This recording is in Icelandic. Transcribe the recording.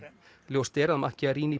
ljóst er að